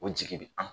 O jigi bɛ an